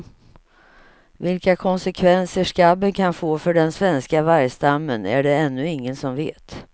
Vilka konsekvenser skabben kan få för den svenska vargstammen är det ännu ingen som vet.